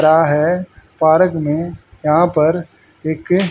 है पारक में यहां पर एक--